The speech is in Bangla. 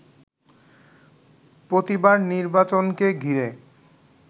প্রতিবার নির্বাচনকে ঘিরে